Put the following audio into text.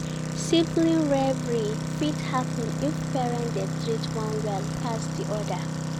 Sibling rivalry fit happen if parent dey treat one well pass di other